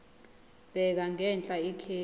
bheka ngenhla ikheli